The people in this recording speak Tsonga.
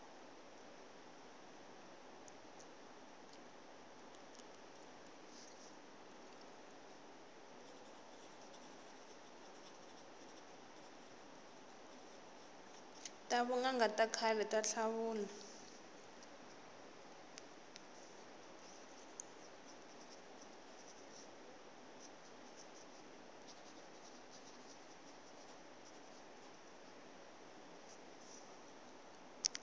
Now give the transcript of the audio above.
ta vunanga ta khale ta tlhavula